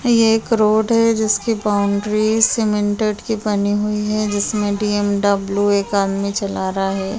ये एक रोड है जिसकी बाउंड्री सीमेंटेट की बनी हुई है जिसमे बी_एम_डब्ल्यू एक आदमी चला रहा है।